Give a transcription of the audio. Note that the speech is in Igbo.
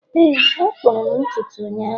Éè a kpụrụ m ntutu ụnyahụ